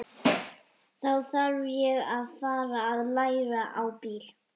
Þá þarf ég að fara að læra á bíl.